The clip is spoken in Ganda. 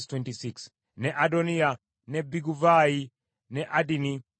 ne Adoniya, ne Biguvaayi, ne Adini,